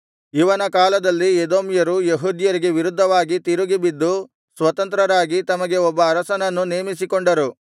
ಇವನ ಕಾಲದಲ್ಲಿ ಎದೋಮ್ಯರು ಯೆಹೂದ್ಯರಿಗೆ ವಿರುದ್ಧವಾಗಿ ತಿರುಗಿಬಿದ್ದು ಸ್ವತಂತ್ರರಾಗಿ ತಮಗೆ ಒಬ್ಬ ಅರಸನನ್ನು ನೇಮಿಸಿಕೊಂಡರು